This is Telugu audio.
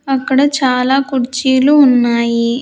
అక్కడ చాలా కుర్చీలు ఉన్నాయి.